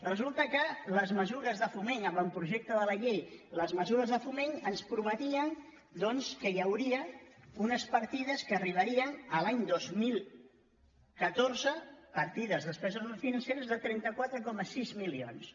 resulta que les mesures de foment avantprojecte de la llei les mesures de foment ens prometien doncs que hi hauria unes partides que arribarien a l’any dos mil catorze partides de despeses no financeres de trenta quatre coma sis milions